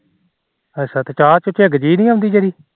ਅੱਛਾ ਚਾਹ ਤੇ ਝੱਗ ਜੀ ਨੀ ਆਉਂਦੀ ਜਿਹੜੀ